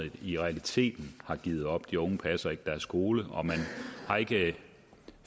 i realiteten har givet op de unge passer ikke deres skole og man har ikke